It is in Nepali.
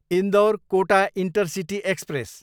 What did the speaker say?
Indore, Kota intercity express